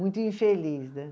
Muito infeliz, né?